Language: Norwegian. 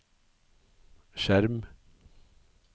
skjerm